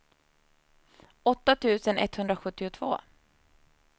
åtta tusen etthundrasjuttiotvå